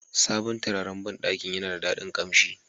Sabon turaren banɗakin yana da daɗin kamshi.